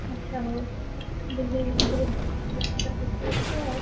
ଆଚ୍ଛା ହଉ, ବେସ୍ତରେ ବୋଧେ ଅଛ।